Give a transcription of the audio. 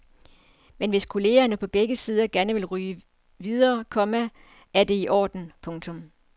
Men hvis kollegerne på begge sider gerne vil ryge videre, komma er det i orden. punktum